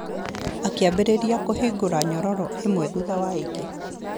Akĩambĩrĩria kũhingũra nyororo ĩmwe thutha wa ĩngĩ.